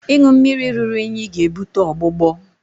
ịṅụ mmiri ruru unyi na-ebute ọgbụgbọ